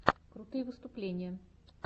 крутые выступления